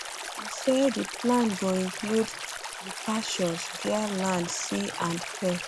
e say di plan go include departures via land sea and and air